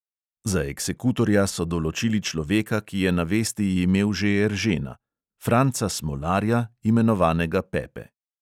Za eksekutorja so določili človeka, ki je na vesti imel že eržena: franca smolarja, imenovanega pepe.